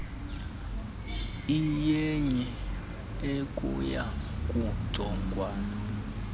iyenye ekuya kujongwana